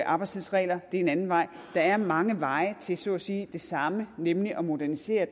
arbejdstidsregler er en anden vej der er mange veje til så at sige det samme nemlig at modernisere